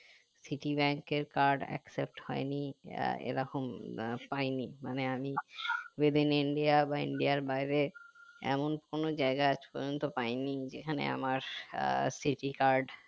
citi bank এর card except হয়নি ah এরকম আহ পাইনি মানে আমি with in india বা india আর বাইরে এমন কোনো জায়গা আজ পর্যন্ত পাইনি যেখানে আমার আহ citi card